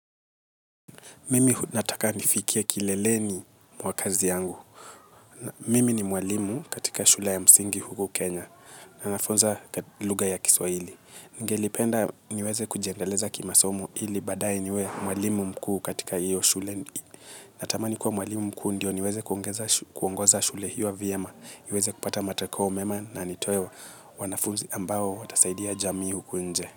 Mimi nataka nifikie kileleni mwa kazi yangu. Mimi ni mwalimu katika shule ya msingi huku Kenya. Na nafunza lugha ya kiswahili. Ningelipenda niweze kujiendeleza kimasomi ili baadae niwe mwalimu mkuu katika hiyo shule. Natamani kuwa mwalimu mkuu ndio niweze kuongoza shule hiyo vyema. Iweze kupata matokeo mema na nitoe wanafunzi ambao watasaidia jamii huku nje.